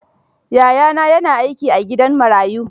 Yayana ya na aiki a gidan marayu.